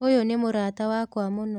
ũyũ nĩ mũrata wakwa mũno.